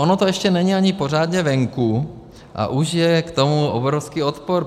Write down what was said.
Ono to ještě ani není pořádně venku, a už je k tomu obrovský odpor.